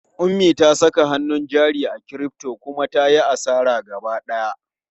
Ummi ta saka hannun jari a crypto kuma ta yi asara gaba ɗaya.